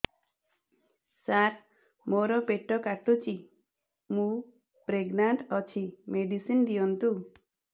ସାର ମୋର ପେଟ କାଟୁଚି ମୁ ପ୍ରେଗନାଂଟ ଅଛି ମେଡିସିନ ଦିଅନ୍ତୁ